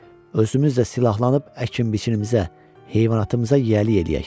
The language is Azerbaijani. Özümüz də silahlanıb əkin-biçinimizə, heyvanatımıza yiyəlik eləyək.